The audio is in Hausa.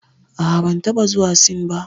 A'a, ban taɓa zuwa Sin ba.